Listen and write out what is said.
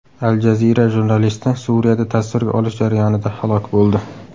Al Jazeera jurnalisti Suriyada tasvirga olish jarayonida halok bo‘ldi.